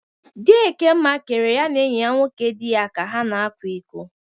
Di Ekemma kere ya na enyi nwoke dị ya ka ha na-akwa iko.